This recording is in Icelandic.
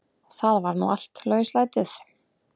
Það var nú allt lauslætið.